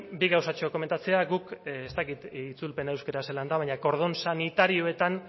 bi gauzatxo komentatzea guk ez dakit itzulpena euskaraz zelan den baina kordon sanitarioetan